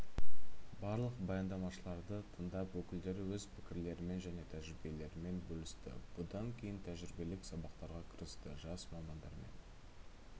барлық баяндамашыларды тыңдап өкілдері өз пікірлерімен және тәжірибелерімен бөлісті бұдан кейін тәжірибелік сабақтарға кірісті жас мамандармен